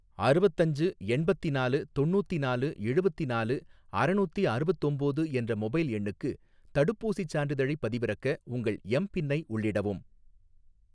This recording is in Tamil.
அறுவத்தஞ்சு எண்பத்திநாலு தொண்ணூத்தினாலு எழுவத்தினாலு அறநூத்தி அறுவத்தொம்போது என்ற மொபைல் எண்ணுக்கு தடுப்பூசிச் சான்றிதழைப் பதிவிறக்க, உங்கள் எம் பின்னை உள்ளிடவும்